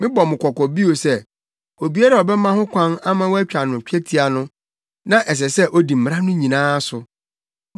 Mebɔ mo kɔkɔ bio sɛ obiara a ɔbɛma ho kwan ama wɔatwa no twetia no, na ɛsɛ sɛ odi mmara no nyinaa so.